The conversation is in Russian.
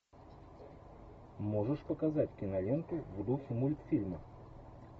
можешь показать киноленту в духе мультфильма